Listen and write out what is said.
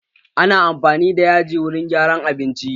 Ana amfani da yaji wurin gyara abinci.